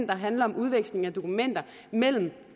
der handler om udveksling af dokumenter mellem